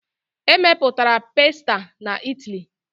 E mepụtara pasta na Italy.